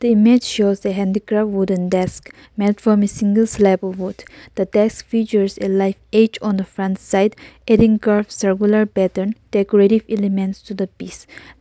image shows the handicraft wooden desk made from a single slab of wood the desk features a live edge on the front side eating curves circular pattern decorative elements to the piece --